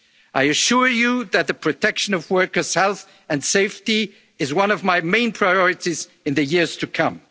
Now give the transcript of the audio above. seasonal workers. I assure you that the protection of workers' health and safety is one of my main priorities for